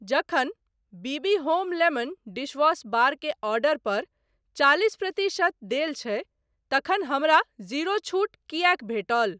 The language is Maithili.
जखन B B home lemon dishwash bar के ऑर्डर पर चालिस प्रतिशत देल छै तखन हमरा जीरो छूट किएक भेटल ?